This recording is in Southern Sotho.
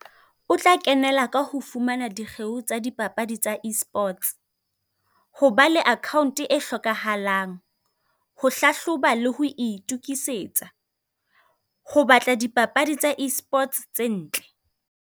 O tla kenela ka ho fumana dikgeo tsa dipapadi tsa Esports, ho ba le account-e e hlokahalang, ho hlahloba le ho itokisetsa, ho batla dipapadi tsa Esports tse ntle.